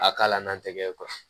A k'a la n'an tɛgɛ ye